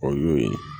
O y'o ye